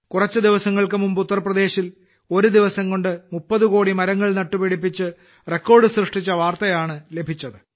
കുറച്ചു ദിവസങ്ങൾക്ക് മുമ്പ് ഉത്തർപ്രദേശിൽ ഒരു ദിവസംകൊണ്ട് 30 കോടി മരങ്ങൾ നട്ടുപിടിപ്പിച്ച് റെക്കോർഡ് സൃഷ്ടിച്ച വാർത്തയാണ് ലഭിച്ചത്